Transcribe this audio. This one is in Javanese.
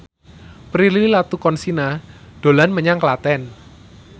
Prilly Latuconsina dolan menyang Klaten